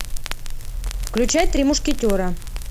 включай три мушкетера